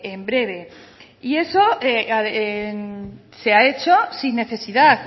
en breve y eso se ha hecho sin necesidad